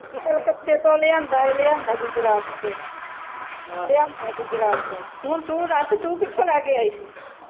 ਕਲਕੱਤੇ ਤੋਂ ਲਿਆਂਦਾ ਐ ਲਿਆਂਦਾ ਐ ਗੁਜਰਾਤ ਤੋਂ ਲਿਆਂਦਾ ਗੁਜਰਾਤ ਤੋਂ ਹੁਣ ਤੂ ਦੱਸ ਤੂ ਕਿਥੋਂ ਲੈ ਕੇ ਆਈ ਸੀ